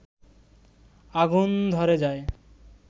আগুন ধরে যায়